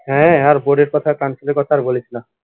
হ্যা আর board এর কথা আর council এর কথা আর বলিস না